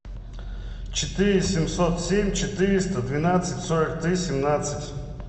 четыре семьсот семь четыреста двенадцать сорок три семнадцать